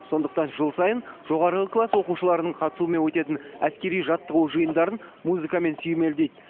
сондықтан жыл сайын жоғарғы класс оқушыларының қатысуымен өтетін әскери жаттығу жиындарын музыкамен сүйемелдейді